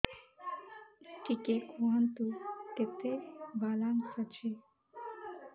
ଟିକେ କୁହନ୍ତୁ କେତେ ବାଲାନ୍ସ ଅଛି